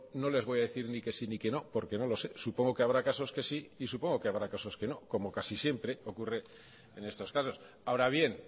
no le voy a decir ni que si ni que no porque no lo sé supongo que habrá casos que sí y supongo que habrá casos que no como casi siempre ocurren en estos casos ahora bien